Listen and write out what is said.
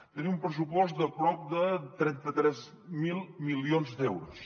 tenim un pressupost de prop de trenta tres mil milions d’euros